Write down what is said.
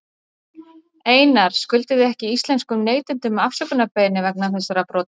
Einar, skuldið þið ekki íslenskum neytendum afsökunarbeiðni vegna þessara brota?